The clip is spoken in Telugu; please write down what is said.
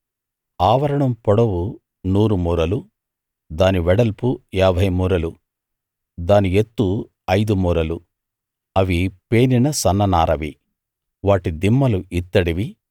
ఆవరణం పొడవు నూరు మూరలు దాని వెడల్పు ఏభై మూరలు దాని ఎత్తు ఐదు మూరలు అవి పేనిన సన్ననారతో చేశారు వాటి దిమ్మలు ఇత్తడివి